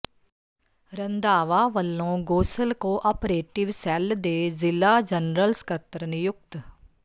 ਰੰਧਾਵਾ ਵੱਲੋਂ Gosal cooperative cell ਦੇ ਜ਼ਿਲ੍ਹਾ ਜਨਰਲ ਸਕੱਤਰ ਨਿਯੁਕਤ